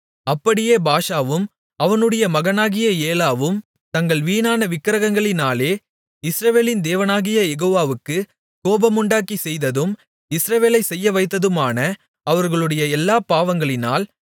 அப்படியே பாஷாவும் அவனுடைய மகனாகிய ஏலாவும் தங்கள் வீணான விக்கிரகங்களினாலே இஸ்ரவேலின் தேவனாகிய யெகோவாவுக்குக் கோபமுண்டாக்கிச் செய்ததும் இஸ்ரவேலைச் செய்யவைத்ததுமான அவர்களுடைய எல்லாப் பாவங்களினால்